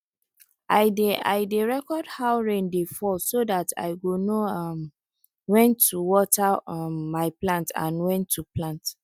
i dey i dey record how rain dey fall so dat i go know um wen to water um my plants and wen to plant